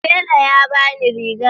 Tela ya ba ni rigar.